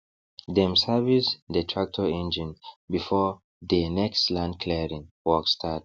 dem service dey tractor engine before dey next land clearing work start